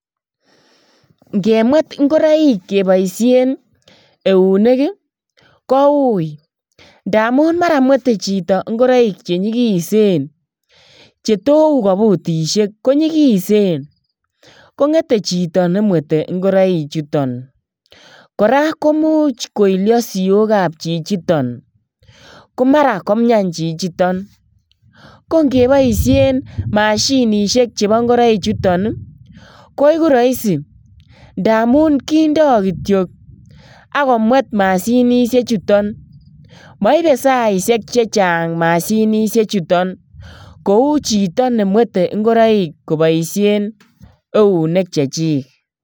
Ingemwet ingoroik keboisien eunek ii koui ngamun mara nwete chito ngoroik chenyikisen chetou kobutishek konyikisen, kongete chito nemwete ingoroichuton koraa koimuch koilio siokab chichiton komara komian chichiton kongeboishen mahsinishek chebo ngoroichuton ii koiku roisi ndamun kindo kityok ak komwet mashinishechuton moibe saishek chechang mashinishechuton koui chito nemwete ngoroik koboishen neunek chechik.